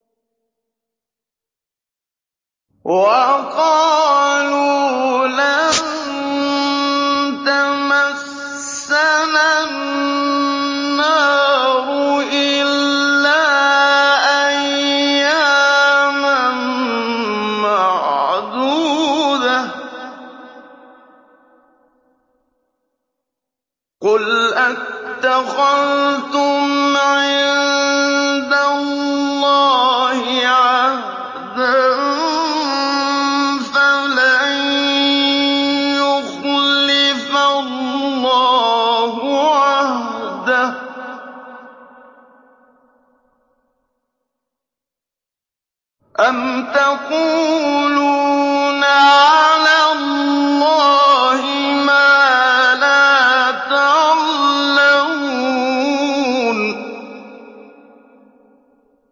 وَقَالُوا لَن تَمَسَّنَا النَّارُ إِلَّا أَيَّامًا مَّعْدُودَةً ۚ قُلْ أَتَّخَذْتُمْ عِندَ اللَّهِ عَهْدًا فَلَن يُخْلِفَ اللَّهُ عَهْدَهُ ۖ أَمْ تَقُولُونَ عَلَى اللَّهِ مَا لَا تَعْلَمُونَ